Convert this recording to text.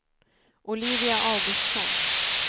Olivia Augustsson